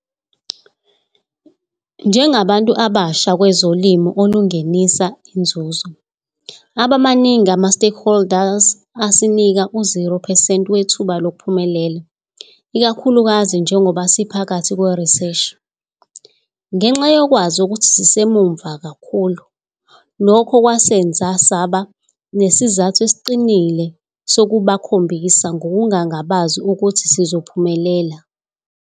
Njengabantu abasha kwezolimo olungenisa inzuzo, aba maningi ama-stakeholders asinika u-zero percent wethuba lokuphumelela, ikakhulukazi njengoba siphakathi kweriseshini. Ngenxa yokwazi ukuthi sisemuva kakhulu, lokho kwasenza saba nesizathu esiqinile sokubakhombisa ngokungangabazi ukuthi sizophumelela.